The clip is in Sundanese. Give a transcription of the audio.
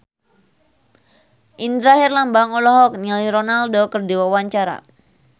Indra Herlambang olohok ningali Ronaldo keur diwawancara